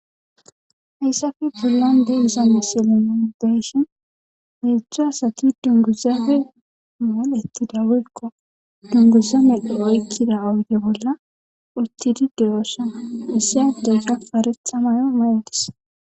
Hayssafe pulande iza misilimin deshin heejzdza asati dunguzafe malettida woykko dunguza medho oykkida awude bolla uttidideyoosana isse adegga paretha mayo maydis.